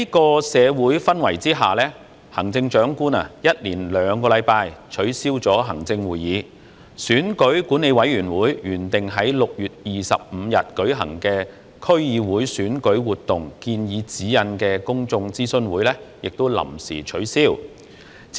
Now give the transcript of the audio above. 在這種社會氛圍下，行政長官一連兩周取消行政會議，選舉管理委員會原定於6月25日舉行的區議會選舉活動建議指引公眾諮詢會亦臨時取消。